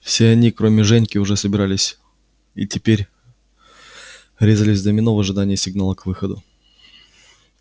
все они кроме женьки уже собирались и теперь резались в домино в ожидании сигнала к выходу